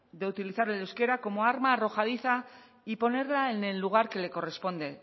de utilizar el euskera como arma arrojadiza y ponerla en el lugar que le corresponde